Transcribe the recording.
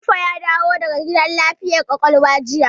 Jibo ya dawo daga gidan lafiyar ƙwaƙwalwa jiya.